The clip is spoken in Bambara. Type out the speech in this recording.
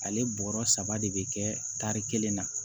Ale bɔrɔ saba de bɛ kɛ tari kelen na